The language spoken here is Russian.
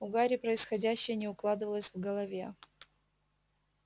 у гарри происходящее не укладывалось в голове